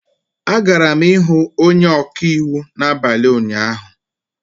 Agara m ihụ onye ọka iwu n'abalị ụnyaahụ